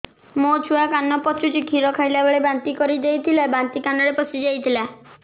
ମୋ ଛୁଆ କାନ ପଚୁଛି କ୍ଷୀର ଖାଇଲାବେଳେ ବାନ୍ତି କରି ଦେଇଥିଲା ବାନ୍ତି କାନରେ ପଶିଯାଇ ଥିଲା